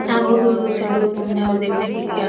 यहाँ बहुत दूर दूर से लोग घूमने और देखने के लिए आ --